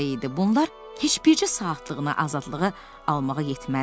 Bunlar heç bircə saatlığına azadlığı almağa yetməzdi.